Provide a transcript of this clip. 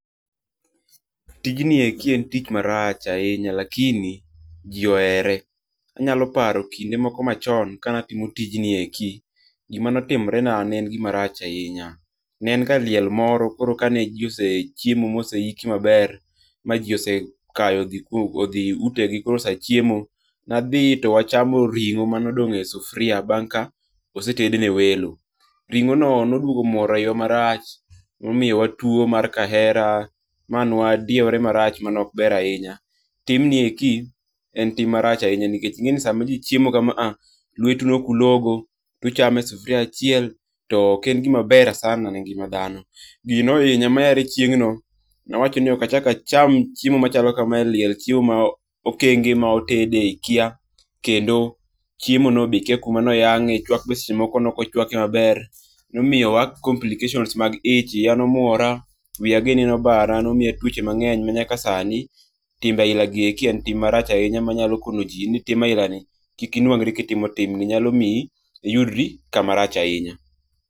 Tijni eki en tich marach ahinya lakini ji ohere, anyaloparo kinde moko machon kanatimo tijni eki, gimane otimorena ne en gimarach ahinya, ne en ga liel moro koro kane ji osechiemo ma osehiki maber ma ji osehayo othi itegi koro sa chiemo na thi to wachamo ringo mane odong' e sufuria bang ka osetedne welo, ringo'no ne oduogo muoro hiwa marach momiyowa tuo mar kahera ma nwadiewore marach mane ok ber ahinya, timni eki en ti marach ahinya nikech inge'ni sama ji chiemo kamaha lwetu nokulogo tuchame e sufuria achiel to ok en gima ber sana ne ngi'ma thano, gino ne ohinya sana ma nawacho ni okachak acham chiemo machalo kama e liel chiemo ma okenge ma otede ikia kendo chiemono be ikia kumano yange' chwak bende seche moko be ne okochwake be maber, nomiyowa complications mag ich, iyanomwora, wiyagini ne obara nomiya twoche mangeny manyaka sani timbe ailagi eki en tim marach ahinya manyalo konoji en ni tim ahilani ni kik inwang'ri kitimo timni, nyalo miyi iyudri kama rach ahinya